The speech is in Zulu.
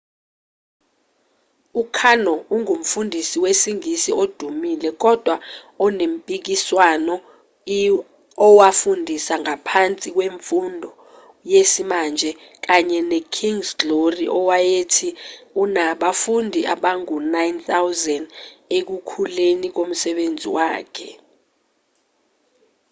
u-karno ungumfundisi wesingisi odumile kodwa onempikiswano i owafundisa ngaphansi kwemfundo yesimanje kanye ne-kind's glory owayethi unabafundi abangu-9,000 ekukhuleni komsebenzi wakhe